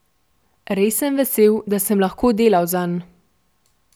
Res sem vesel, da sem lahko delal zanj.